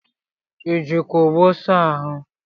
ị jikwa ogbo saa ahụ?